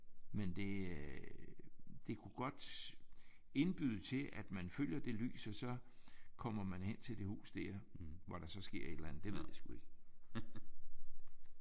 Men det øh det kunne godt indbyde til at man følger det lys og så kommer man hen til det hus der hvor der så sker et eller andet. Det ved jeg sgu ikke